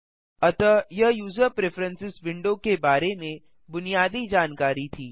अतः यह user preferences window के बारे में बुनियादी जानकारी थी